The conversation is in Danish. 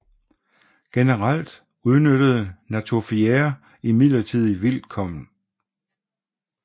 Generelt udnyttede natufiere imidlertid vildt korn